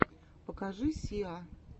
покажи сиа